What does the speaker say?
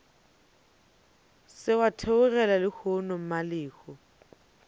se wa theogela lehono mmalehu